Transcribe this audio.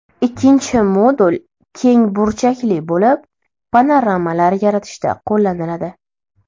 Ikkinchi modul keng burchakli bo‘lib, panoramalar yaratishda qo‘llaniladi.